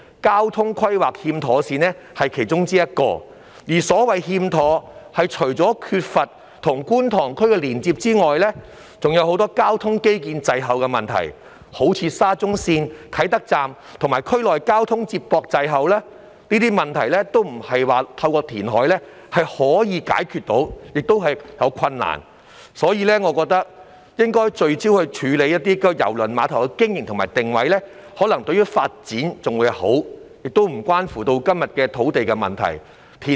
交通規劃欠妥善只是其中之一，而所謂"欠妥"，除了是缺乏與觀塘區的連接外，還有很多交通基建滯後的問題，就如沙田至中環綫啟德站與區內交通接駁滯後，這些問題並非透過填海便可以解決，而且解決起來亦有困難，所以我覺得應該聚焦處理郵輪碼頭的經營和定位，這個做法或許更有利發展，亦不涉及今天談到的土地問題。